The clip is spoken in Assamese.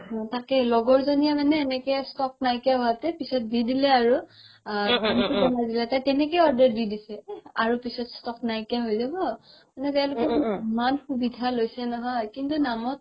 তাকেই লগৰ জনিয়ে মানে এনেকে stock নাইকিয়া হৈতে পিছত দি দিলে আৰু তাই তেনেকে order দি দিছে আৰু পিছত stock নাইকিয়া হৈ যাব মানে তেওলোকে ইমান সুবিধা লৈছে নহয় কিন্তু নামত